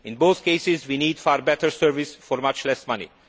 In both cases, we need far better service for much less money.